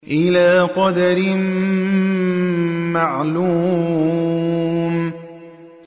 إِلَىٰ قَدَرٍ مَّعْلُومٍ